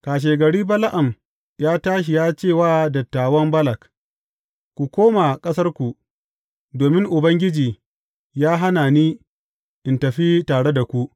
Kashegari Bala’am ya tashi ya ce wa dattawan Balak, Ku koma ƙasarku, domin Ubangiji ya hana ni in tafi tare da ku.